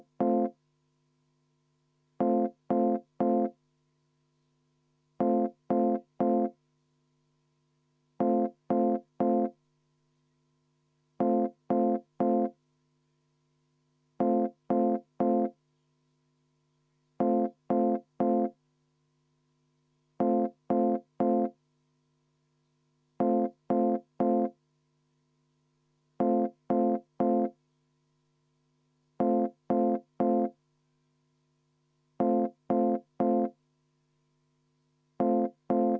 Vaheaeg kümme minutit.